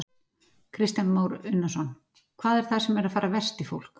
Kristján Már Unnarsson: Hvað er það sem er að fara verst í fólk?